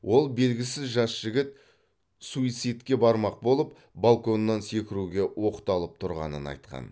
ол белгісіз жас жігіт суицидке бармақ болып балконнан секіруге оқталып тұрғанын айтқан